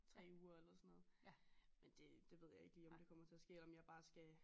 3 uger eller sådan noget. Men det det ved jeg ikke lige om det kommer til at ske eller om jeg bare skal